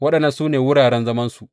Waɗannan ne wuraren zamansu.